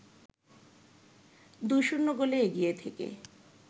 ২-০ গোলে এগিয়ে থেকে